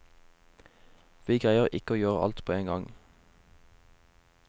Vi greier ikke å gjøre alt på en gang.